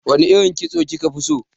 Wane irin kitso kika fi so?